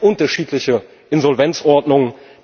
Es gibt unterschiedliche Insolvenzordnungen.